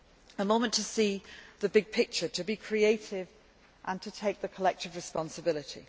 A moment to see the big picture, to be creative and take collective responsibility.